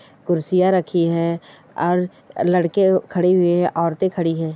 कुर्सियाँ रखि हैं और लड़के खड़े हुये हैं औरते खडी है।